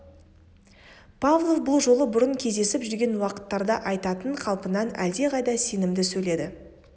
павлов бұл жолы бұрын кездесіп жүрген уақыттарда айтатын қалпынан әлдеқайда сенімді сөйледі